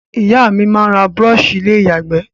Ìyá mí n ra brush ilé ìyàgbé